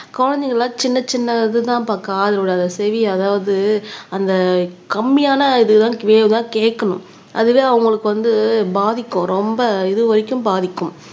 குழந்தைங்க எல்லாம் சின்னச் சின்ன இதுதான்ப்பா காதோட அது செவி அதாவது அந்த கம்மியான இதுதான் வேவ் தான் கேட்கணும் அதுவே அவங்களுக்கு வந்து பாதிக்கும் ரொம்ப இது வரைக்கும் பாதிக்கும்